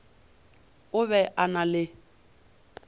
o be a na le